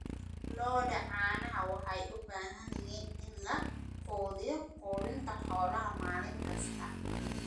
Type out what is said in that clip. Lo'da caanaha waxay u baahan yihiin in la quudiyo quudinta xoolaha maalin kasta.